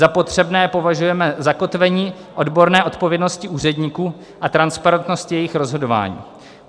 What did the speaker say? Za potřebné považujeme zakotvení odborné odpovědnosti úředníků a transparentnosti jejich rozhodování.